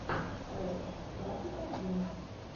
ред двадцать один